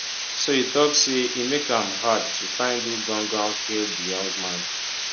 so e tok say e make am hard to find who gangan kill di young man